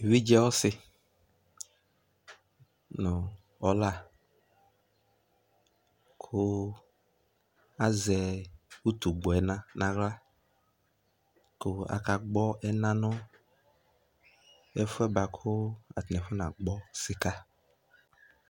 Evidze ɔsi nʋ ɔla kʋ azɛ utugbɔɛna naɣla kʋ akagbɔ ɛna nʋ efuɛ boa kʋ atani afɔnagbɔ sika